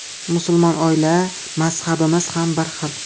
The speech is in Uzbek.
Musulmon oila, mazhabimiz ham bir xil.